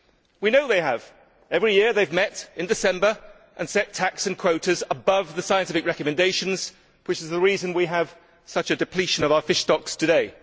We know they have every year they have met in December and set TACs and quotas above the scientific recommendations, which is the reason we have such a depletion of our fish stocks today.